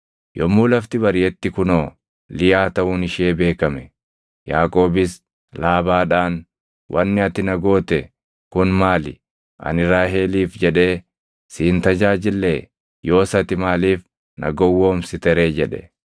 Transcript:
Yommuu lafti bariʼetti kunoo Liyaa taʼuun ishee beekame! Yaaqoobis Laabaadhaan, “Wanni ati na goote kun maali? Ani Raaheliif jedhee si hin tajaajillee? Yoos ati maaliif na gowwoomsite ree?” jedhe.